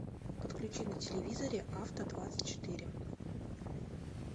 подключи на телевизоре авто двадцать четыре